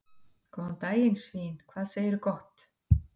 Góðan daginn svín, hvað segirðu gott?